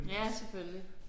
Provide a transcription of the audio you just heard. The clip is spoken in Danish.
Ja selvfølgelig